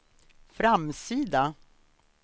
framsida